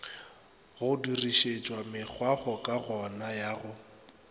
go dirišetšwa mekgwakgokagano ya go